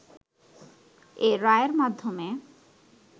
এ রায়ের মাধ্যমে